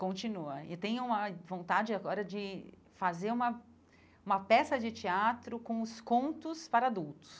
Continua, e tenho uma vontade agora de fazer uma uma peça de teatro com os contos para adultos.